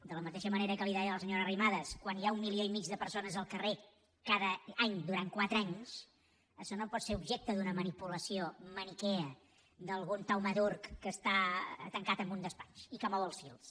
de la mateixa manera que li deia a la senyora arrimadas quan hi ha un milió i mig de persones al carrer cada any durant quatre anys això no pot ser objecte d’una manipulació maniquea d’algun taumaturg que està tancat en un despatx i que mou els fils